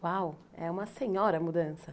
Uau, é uma senhora mudança.